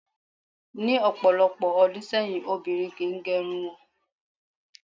Ní ò̩pò̩lo̩pò̩ o̩dún sé̩yìn, obìnrin kì í ge̩run wo̩n